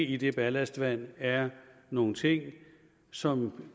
i det ballastvand er nogle ting som